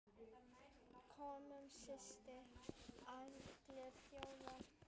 Könum síst allra þjóða!